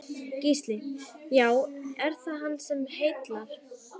Gísli: Já, er það hann sem heillar?